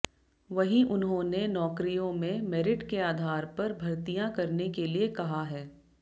वहीं उन्होंने नौकरियों में मेरिट के आधार पर भर्तियां करने के लिए कहा है